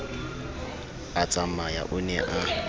a tsamaya o ne a